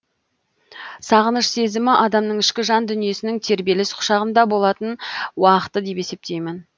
сағыныш сезімі адамның ішкі жан дүниесінің тербеліс құшағында болатын уақыты деп есептеймін